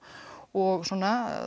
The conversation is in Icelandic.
og svona